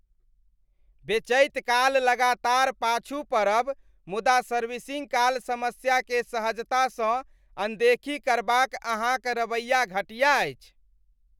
बेचैत काल लगातार पाछू पड़ब मुदा सर्विसिंग काल समस्याकेँ सहजतासँ अनदेखी करबाक अहाँक रवैया घटिया अछि।